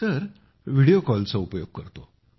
होय व्हिडीओ कॉलचा उपयोग करतो